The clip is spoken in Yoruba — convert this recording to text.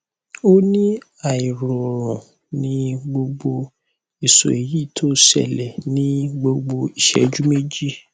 o ni airorun ni gbogbo iso eyi ti o sele ni gbogbo iseju meji